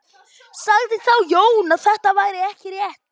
Sagði þá Jón að þetta væri ekki rétt.